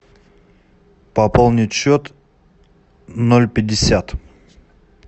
пополнить счет ноль пятьдесят